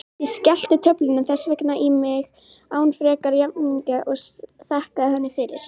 Ég skellti töflunni þess vegna í mig án frekari vafninga og þakkaði henni fyrir.